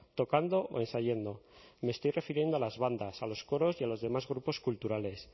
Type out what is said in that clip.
tocando o ensayando y me estoy refiriendo a las bandas a los coros y a los demás grupos culturales